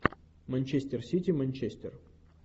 манчестер сити манчестер